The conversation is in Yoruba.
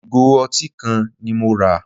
Ìgò ọtí kan ni mo rà.